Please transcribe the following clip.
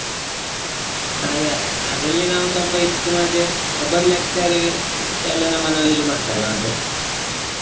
ಹಾಗೆ ಅದರಲ್ಲಿ ನಾವು ಸ್ವಲ್ಪ ಇದು ಮಾಡಿದ್ರೆ ಒಬ್ಬರು lecture ಎಲ್ಲ ನಮ್ಮನ್ನು ಇದು ಮಾಡ್ತಾರೆ ಮತ್ತೆ.